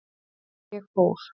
Ég fór.